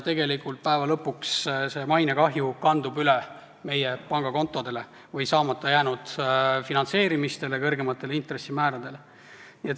Tegelikult kandub see mainekahju üle meie pangakontodele, see väljendub saamata jäänud finantseerimistes ja kõrgemates intressimäärades.